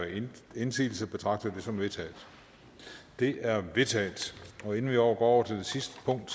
indsigelse betragter jeg det som vedtaget det er vedtaget inden vi går over til det sidste punkt